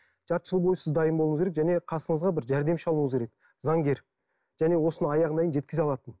жарты жыл бойы сіз дайын болуыңыз керек және қасыңызға бір жәрдемші алуыңыз керек заңгер және осыны аяғына дейін жеткізе алатын